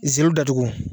Ziiri datugu